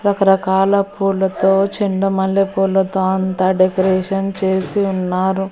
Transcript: రకరకాల పూలతో చెండు మల్లె పూలతో అంతా డెకరేషన్ చేసి ఉన్నారు.